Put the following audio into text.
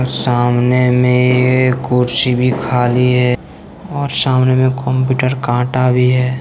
सामने में कुर्सी भी खाली है और सामने में कंप्यूटर कांटा भी है।